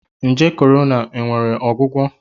Nje Virus Corona nwere ọgwụgwọ?